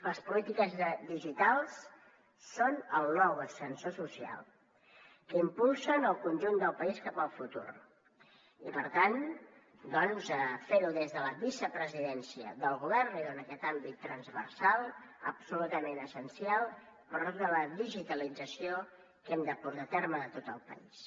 les polítiques digitals són el nou ascensor social que impulsen el conjunt del país cap al futur i per tant fer ho des de la vicepresidència del govern li dona aquest àmbit transversal absolutament essencial per a tota la digitalització que hem de portar a terme de tot el país